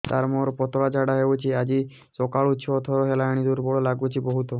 ସାର ମୋର ପତଳା ଝାଡା ହେଉଛି ଆଜି ସକାଳୁ ଛଅ ଥର ହେଲାଣି ଦୁର୍ବଳ ଲାଗୁଚି ବହୁତ